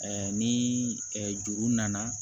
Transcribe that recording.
ni juru nana